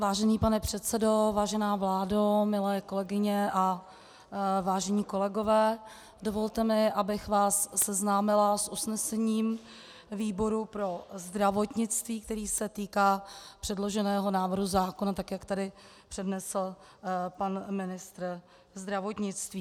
Vážený pane předsedo, vážená vládo, milé kolegyně a vážení kolegové, dovolte mi, abych vás seznámila s usnesením výboru pro zdravotnictví, které se týká předloženého návrhu zákona, tak jak tady přednesl pan ministr zdravotnictví.